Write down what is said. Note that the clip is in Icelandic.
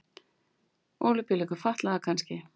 Ólympíuleikum fatlaðra kannski.